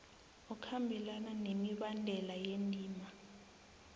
okhambelana nemibandela yendima